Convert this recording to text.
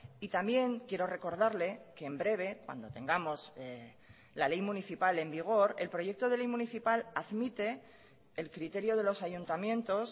y también quiero recordarle que en breve cuando tengamos la ley municipal en vigor el proyecto de ley municipal admite el criterio de los ayuntamientos